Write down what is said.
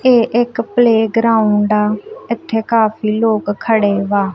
ਏਹ ਇੱਕ playground ਆ ਇੱਥੇ ਕਾਫੀ ਲੋਕ ਖੜੇ ਵਾਂ।